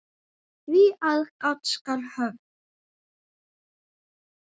Því aðgát skal höfð.